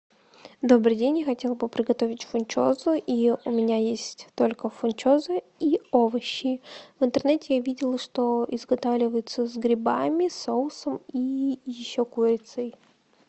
добрый день я хотела бы приготовить фунчозу и у меня есть только фунчоза и овощи в интернете я видела что изготавливается с грибами соусом и еще курицей